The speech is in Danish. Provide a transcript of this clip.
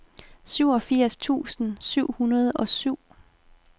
syvogfirs tusind syv hundrede og syv